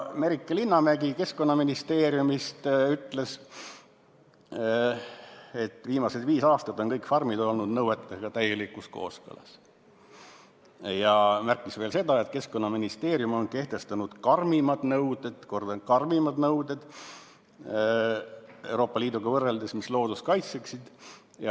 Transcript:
Merike Linnamägi Keskkonnaministeeriumist ütles, et viimased viis aastat on kõik farmid olnud nõuetega täielikus kooskõlas, ja märkis veel seda, et Keskkonnaministeerium on kehtestanud karmimad nõuded Euroopa Liiduga võrreldes, mis loodust kaitseksid.